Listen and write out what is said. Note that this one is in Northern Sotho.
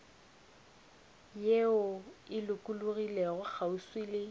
ye e lokologilego kgauswi le